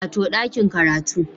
Wato ɗakin karatu